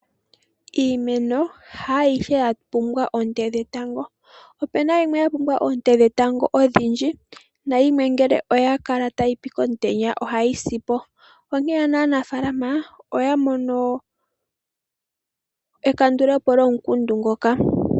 Iimeno haayihe ya pumbwa oonte dhetango. Opuna yimwe ya pumbwa oonte dhetango odhindji nayimwe ngele oya kala tayipi komutenya ohayi si po. Onkene ano aanafaalama oya mono ekandulepo lyomukundu ngoka.